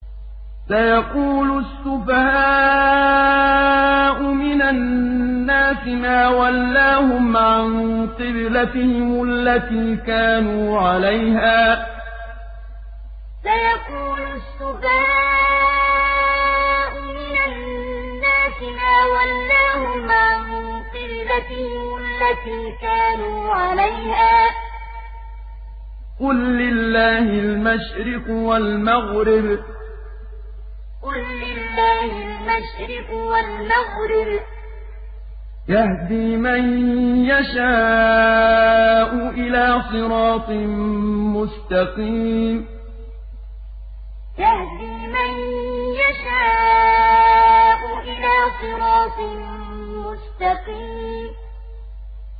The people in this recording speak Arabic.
۞ سَيَقُولُ السُّفَهَاءُ مِنَ النَّاسِ مَا وَلَّاهُمْ عَن قِبْلَتِهِمُ الَّتِي كَانُوا عَلَيْهَا ۚ قُل لِّلَّهِ الْمَشْرِقُ وَالْمَغْرِبُ ۚ يَهْدِي مَن يَشَاءُ إِلَىٰ صِرَاطٍ مُّسْتَقِيمٍ ۞ سَيَقُولُ السُّفَهَاءُ مِنَ النَّاسِ مَا وَلَّاهُمْ عَن قِبْلَتِهِمُ الَّتِي كَانُوا عَلَيْهَا ۚ قُل لِّلَّهِ الْمَشْرِقُ وَالْمَغْرِبُ ۚ يَهْدِي مَن يَشَاءُ إِلَىٰ صِرَاطٍ مُّسْتَقِيمٍ